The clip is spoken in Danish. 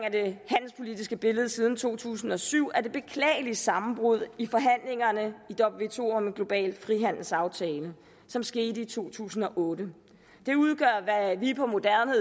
af det handelspolitiske billede siden to tusind og syv er det beklagelige sammenbrud i forhandlingerne i wto om en global frihandelsaftale som skete i to tusind og otte det udgør hvad vi på moderne